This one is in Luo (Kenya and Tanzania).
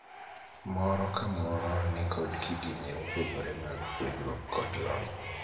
Moro ka moro ni kod kidienje mopogore mag puonjruok kod lony.